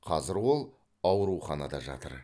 қазір ол ауруханада жатыр